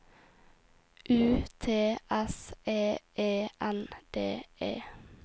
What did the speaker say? U T S E E N D E